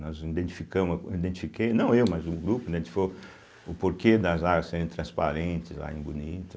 Nós identificamos, identifiquei, não eu, mas o grupo, né, identificou o porquê das áreas serem transparentes lá em Bonito.